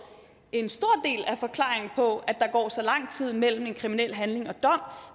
en stor del af forklaringen på at der går så lang tid mellem en kriminel handling og dom